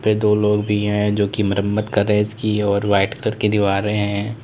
पे दो लोग भी है जो कि मरम्मत कर रहे है इसकी और वाइट कलर की दीवारें है।